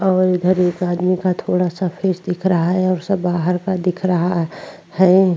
और इधर एक आदमी का थोड़ा-सा फेस दिख रहा है और सब बाहर का दिख रहा है।